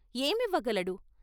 ఏమివ్వ గలడు?